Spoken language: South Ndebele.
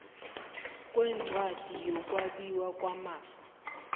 kwencwadi yokwabiwa kwamafa